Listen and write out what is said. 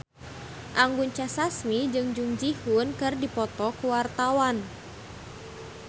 Anggun C. Sasmi jeung Jung Ji Hoon keur dipoto ku wartawan